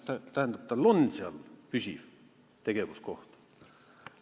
" Tähendab, tal on seal püsiv tegevuskoht.